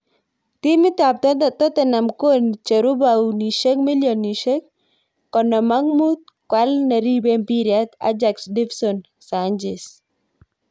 Timit ab Tottenham kocheru paunishek milionishek konom ak mut koal neribei mpiret Ajax Dvinson Sanchez.